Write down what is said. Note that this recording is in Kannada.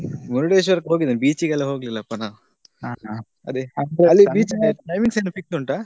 ಮುರುಡೇಶ್ವರಕ್ಕೆ ಹೋಗಿದ್ದೇನೆ beach ಗೆಲ್ಲಾ ಹೋಗ್ಲಿಲ್ಲಪ್ಪಾ ನಾವು beach ಗೆ ಹೋಗ್ಲಿಕ್ಕೆ timings ಏನಾದ್ರು fix ಉಂಟಾ?